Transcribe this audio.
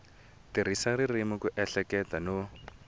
tirhisa ririmi ku ehleketa no